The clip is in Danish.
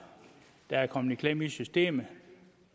der er kommet i klemme i systemet